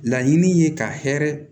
Laɲini ye ka hɛrɛ